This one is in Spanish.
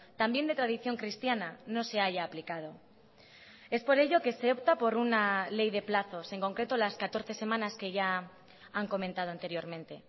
también de tradición cristiana no se haya aplicado es por ello que se opta por una ley de plazos en concreto las catorce semanas que ya han comentado anteriormente